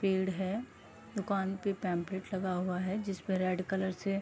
पेड़ है दुकान पे पैंपलेट लगा हुआ है जिसपे रेड कलर से --